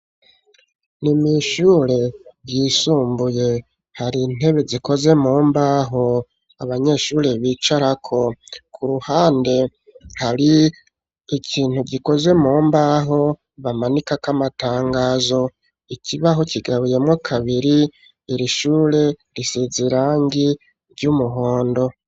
Ni mw'ishure ryisumbuye hari intebe zikoze mu mbaho ,abanyeshure bicarako. ku ruhande hari ikintu gikoze mu mbaho bamanikako amatangazo ,ikibaho kigabuyemo kabiri, iri shure risize irangi ry'umuhondo.